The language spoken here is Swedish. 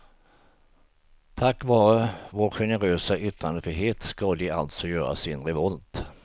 Tack vare vår generösa yttrandefrihet ska de alltså göra sin revolt.